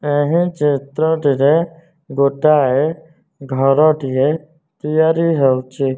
ଏହି ଚିତ୍ରଟିରେ ଗୋଟାଏ ଘରଟିଏ ତିଆରି ହେଉଚି।